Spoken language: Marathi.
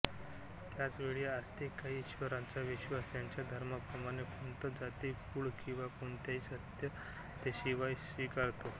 त्याच वेळी आस्तिक काही ईश्वराचा विश्वास त्याच्या धर्माप्रमाणे पंथ जाती कुळ किंवा कोणत्याही सत्यतेशिवाय स्वीकारतो